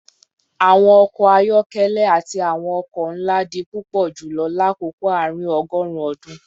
Awọn ọkọ ayọkẹlẹ ati awọn oko nla di pupọ julọ lakoko aarin-ọgọrun ọdun